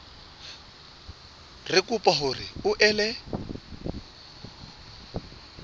re kopa hore o ele